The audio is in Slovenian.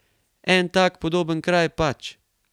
En tak podoben kraj, pač.